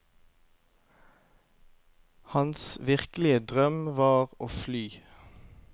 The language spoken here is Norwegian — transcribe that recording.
Hans virkelige drøm var å fly.